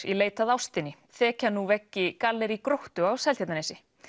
í leit að ástinni þekja nú veggi gallerí Gróttu á Seltjarnarnesi